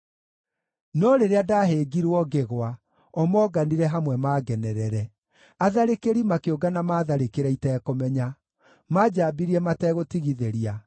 No rĩrĩa ndahĩngirwo ngĩgwa, o moonganire hamwe mangenerere; atharĩkĩri makĩũngana maatharĩkĩre itekũmenya. Manjaambirie mategũtigithĩria.